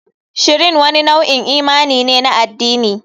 Shrine wani nau'in imani ne na addini.